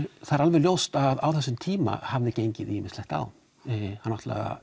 það er alveg ljóst að á þessum tíma hafði gengið ýmislegt á